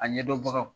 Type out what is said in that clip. A ɲɛdɔnbagaw